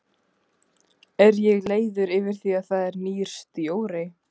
Er ég leiður yfir því að það er nýr stjóri?